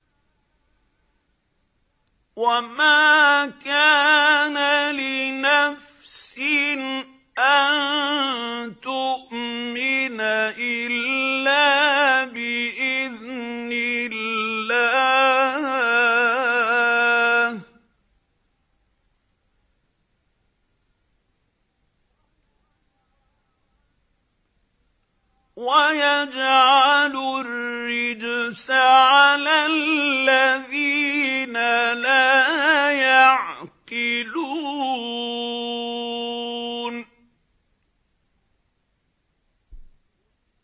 وَمَا كَانَ لِنَفْسٍ أَن تُؤْمِنَ إِلَّا بِإِذْنِ اللَّهِ ۚ وَيَجْعَلُ الرِّجْسَ عَلَى الَّذِينَ لَا يَعْقِلُونَ